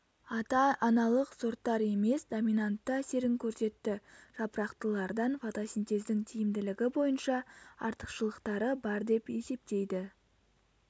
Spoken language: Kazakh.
ата-аналық сорттар емес доминантты әсерін көрсетті жапырақтылардан фотосинтездің тиімділігі бойынша артықшылықтары бар деп есептейді